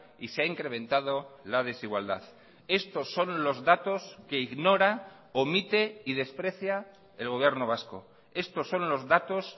y se ha incrementado la desigualdad estos son los datos que ignora omite y desprecia el gobierno vasco estos son los datos